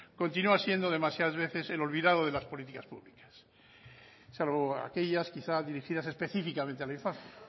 continua siendo demasiadas veces el olvidado de las políticas públicas salvo aquellas quizá dirigidas específicamente a la infancia